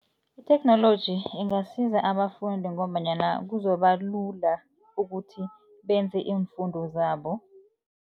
Itheknoloji ingasiza abafundi ngombanyana kuzoba lula ukuthi benze iimfundo zabo.